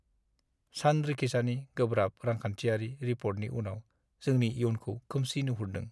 सानरिखिसानि गोब्राब रांखान्थियारि रिपर्टनि उनाव जोंनि इयुनखौ खोमसि नुहरदों।